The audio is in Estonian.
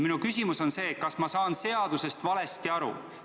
Minu küsimus on: kas ma saan seadusest valesti aru?